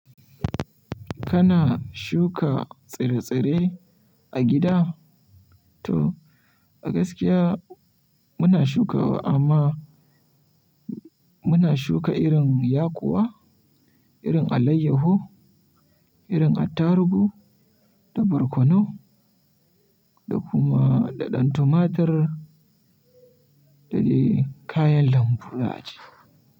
Kana shuka tsire-tsire a gida? To a gaskiya muna shukawa, amma muna shuka irin yakuwa, irin alayyahu, irin attarugu da barkonu da kuma da ɗan tumatur da dai kayan lambu za'ace.